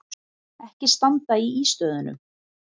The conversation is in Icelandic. Ekki standa í ístöðunum!